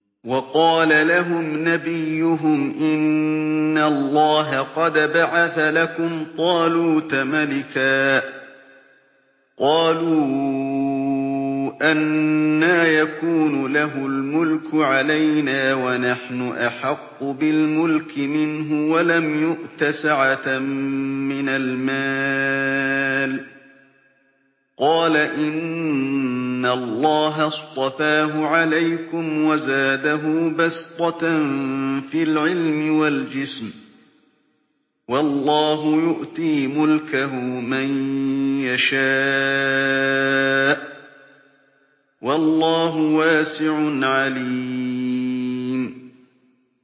وَقَالَ لَهُمْ نَبِيُّهُمْ إِنَّ اللَّهَ قَدْ بَعَثَ لَكُمْ طَالُوتَ مَلِكًا ۚ قَالُوا أَنَّىٰ يَكُونُ لَهُ الْمُلْكُ عَلَيْنَا وَنَحْنُ أَحَقُّ بِالْمُلْكِ مِنْهُ وَلَمْ يُؤْتَ سَعَةً مِّنَ الْمَالِ ۚ قَالَ إِنَّ اللَّهَ اصْطَفَاهُ عَلَيْكُمْ وَزَادَهُ بَسْطَةً فِي الْعِلْمِ وَالْجِسْمِ ۖ وَاللَّهُ يُؤْتِي مُلْكَهُ مَن يَشَاءُ ۚ وَاللَّهُ وَاسِعٌ عَلِيمٌ